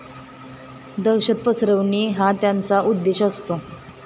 दहशत पसरविणे हा त्यांचा उद्देश असतो.